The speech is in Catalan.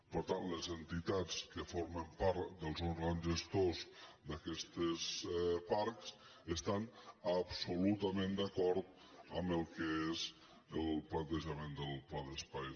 per tant les entitats que formen part dels òrgans gestors d’aquests parcs estan absolutament d’acord amb el que és el plantejament del pla d’espais